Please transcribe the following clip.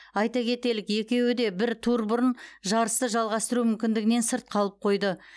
айта кетелік екеуі де бір тур бұрын жарысты жалғастыру мүмкіндігінен сырт қалып қойды